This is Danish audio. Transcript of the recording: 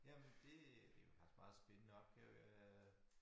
Jamen det er faktisk meget spændende opgaver øh